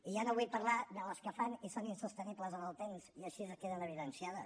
i ja no vull parlar de les que fan i són insostenibles en el temps i així queden evidenciades